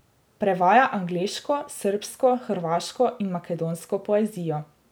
Prevaja angleško, srbsko, hrvaško in makedonsko poezijo.